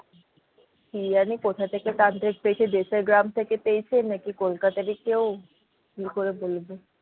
কি জানি কোথা থেকে তান্ত্রিক পেয়েছে দেশের গ্রাম থেকে পেয়েছে নাকি কলকাতারই কেউ কি করে বলবো।